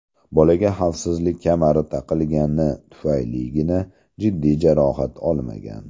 Bolaga xavfsizlik kamari taqilgani tufayligina jiddiy jarohat olmagan.